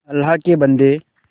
अल्लाह के बन्दे